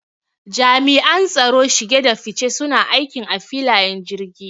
Jami'an tsaron shige da fice suna aikin a filayen jirgi